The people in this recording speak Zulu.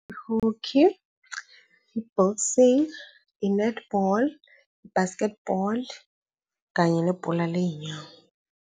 Ihoki, i-boxing, inethibholi, i-basketball kanye kanye nebhola ley'nyawo.